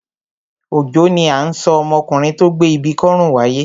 Òjó ni à ń sọ ọmọkùnrin tó gbé ibi kọ́rùn wáyé.